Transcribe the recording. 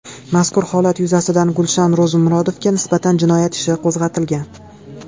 Mazkur holat yuzasidan Gulshan Ro‘zimurodovaga nisbatan jinoyat ishi qo‘zg‘atilgan.